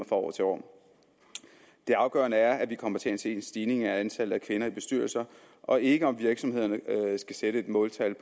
fra år til år det afgørende er at vi kommer til at se en stigning i antallet af kvinder i bestyrelser og ikke om virksomhederne skal sætte måltal